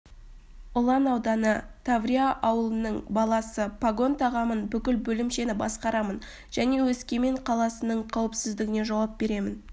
ұлан ауданы таврия ауылының баласы погон тағамын бүкіл бөлімшені басқарамын және өскемен қаласының қауіпсіздігіне жауап беремін